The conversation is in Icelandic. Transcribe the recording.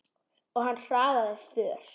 Og hann hraðaði för.